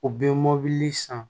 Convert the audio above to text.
U bɛ mɔbili san